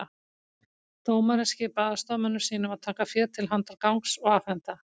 Dómarinn skipaði aðstoðarmönnum sínum að taka féð til handargagns og afhenda